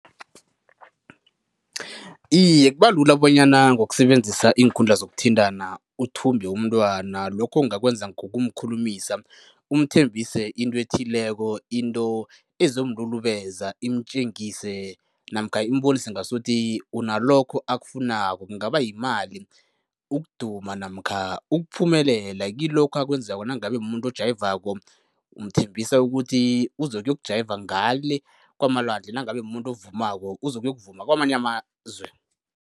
Iye, kuba lula bonyana ngokusebenzisa iinkundla zokuthintana uthumbe umntwana. Lokho ungakwenza ngokumkhulumisa, umthembise into ethileko, into ezomlulubeza, imtjengise namkha imbonise ngasuthi unalokho akufunako. Kungaba yimali, ukuduma namkha ukuphumelela kilokho akwenzako. Nangabe mumuntu ojayivako umthembisa ukuthi uzokuyokujayiva ngale kwamalwandle, nangabe mumuntu ovumako uzokuyokuvuma kwamanye amazwe.